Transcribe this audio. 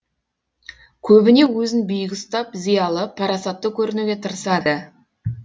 көбіне өзін биік ұстап зиялы парасатты көрінуге тырысады